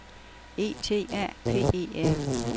E T A P E R